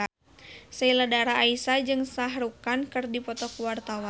Sheila Dara Aisha jeung Shah Rukh Khan keur dipoto ku wartawan